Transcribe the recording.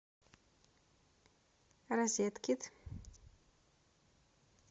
розеткед